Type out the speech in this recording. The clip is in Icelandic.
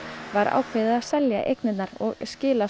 var ákveðið að selja eignirnar og skila